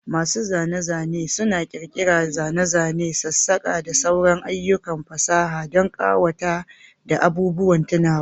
Masu zane-zane suna ƙirƙirar zane-zane, sassakaki, da sauran ayyukan fasaha don ƙawata da abubuwan tunawa.